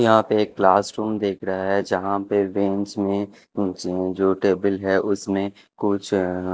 यहां पे एक क्लास रूम देख रहा है जहां पे बेंच में कुछ जो टेबल है उसमें कुछ--